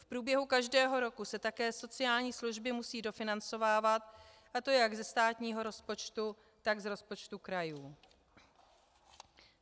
V průběhu každého roku se také sociální služby musí dofinancovávat, a to jak ze státního rozpočtu, tak z rozpočtu krajů.